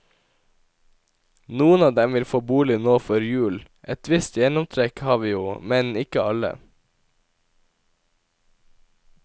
Noen av dem vil få bolig nå før jul, et visst gjennomtrekk har vi jo, men ikke alle.